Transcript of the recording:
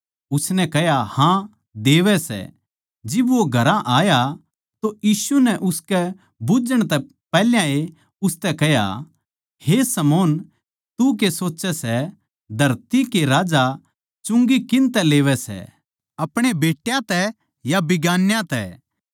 उसनै कह्या हाँ देवै सै जिब वो घरां आया तो यीशु नै उसकै बुझ्झण तै पैहल्याए उसतै कह्या हे शमौन तू के सोच्चै सै धरती के राजा चुंगी किन तै लेवै सै अपणे बेट्यां तै या बिगान्याँ तै